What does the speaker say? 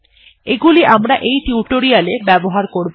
এগুলি আমরা এই টিউটোরিয়ালটিতে ব্যবহার করবো